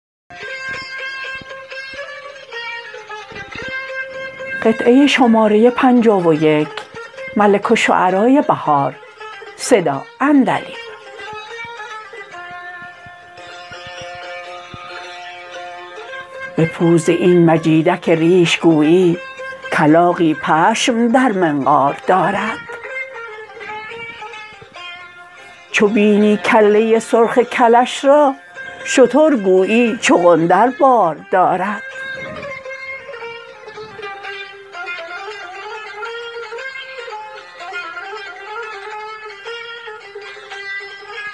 به پوز این مجیدک ریش گویی کلاغی پشم در منقار دارد چو بینی کله سرخ کلش را شتر گویی چقندر بار دارد